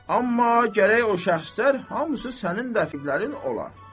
Amma gərək o şəxslər hamısı sənin rəqiblərin olar.